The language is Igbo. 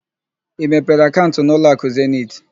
Ị mepere akaụnt na ụlọakụ Zeniti?